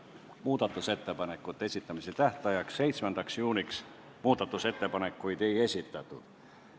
Muudatusettepanekute esitamise tähtajaks 7. juuniks ettepanekuid ei esitatud.